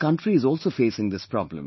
Our country is also facing this problem